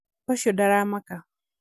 ũciondaramaka